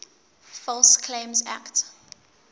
false claims act